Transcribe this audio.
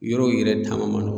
Yɔrɔw yɛrɛ taama